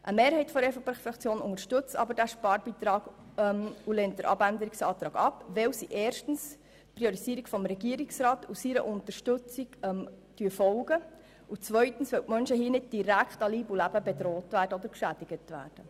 Eine Mehrheit der EVP-Fraktion unterstützt jedoch den Sparbeitrag und lehnt den Abänderungsantrag ab, weil sie erstens der Priorisierung durch den Regierungsrat folgt, und zweitens weil die Menschen dadurch nicht direkt an Leib und Leben bedroht oder geschädigt werden.